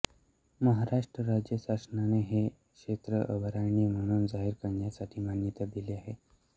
महाराष्ट्र राज्य शासनाने हे क्षेत्र अभयारण्य म्हणून जाहीर करण्यासाठी मान्यता दिली आहे